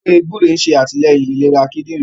ewé gbúre ṣe atilẹyin ìlera kidinrin